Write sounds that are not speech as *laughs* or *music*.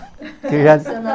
*laughs* que já